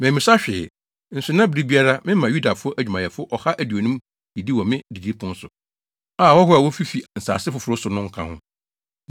Mammisa hwee, nso na bere biara mema Yudafo adwumayɛfo ɔha aduonum didi wɔ me didipon so a, ahɔho a wofifi nsase foforo so no nka ho.